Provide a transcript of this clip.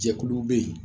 Jɛkulu bɛ yen